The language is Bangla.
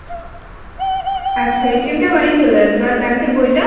আচ্ছা টা বাড়ি চলে আসবে আর bank এর বইটা ?